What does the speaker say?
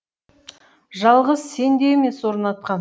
жалғыз сен де емес орнатқан